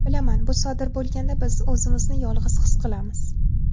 Bilaman, bu sodir bo‘lganda biz o‘zimizni yolg‘iz his qilamiz.